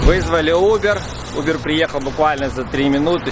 вызвали убер убер приехал буквально за три минуты